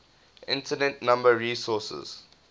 internet number resources